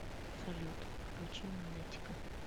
салют включи манетика